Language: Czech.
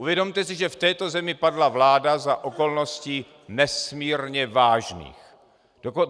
Uvědomte si, že v této zemi padla vláda za okolností nesmírně vážných.